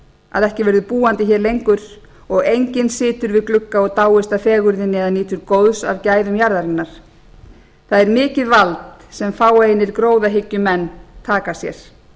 að ekki verði búandi hér lengur og enginn situr við glugga og dáist af fegurðinni eða nýtur góðs af gæðum jarðarinnar það er mikið vald sem fáeinir gróðahyggjumenn taka sér